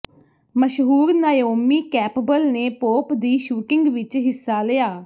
ਮਸ਼ਹੂਰ Naomi Campbell ਨੇ pope ਦੀ ਸ਼ੂਟਿੰਗ ਵਿਚ ਹਿੱਸਾ ਲਿਆ